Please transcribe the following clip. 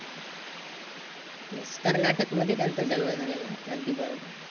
Yes Karnataka मध्ये त्यांचा जन्म झालेला होता, अगदी बरोबर.